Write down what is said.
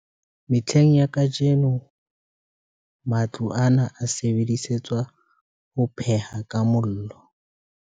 Mehleng ya kajeno, matlo ana a sebedisetswa ho pheha ka mollo.